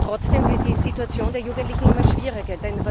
Trotzdem wird die Situation der Jugendlichen immer schwieriger.